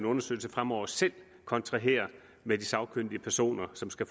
undersøgelse fremover selv kontraherer med de sagkyndige personer som skal